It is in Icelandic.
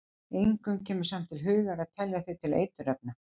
Engum kemur samt til hugar að telja þau til eiturefna.